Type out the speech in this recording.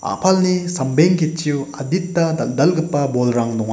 a·palni sambeng ketchio adita dal·dalgipa bolrang donga.